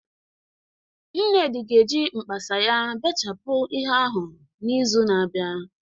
Nnedi ga-eji mkpasa ya bechapụ ihe ahụ n'izu na-abịa